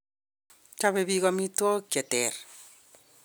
Chobei biik amitwokik che ter.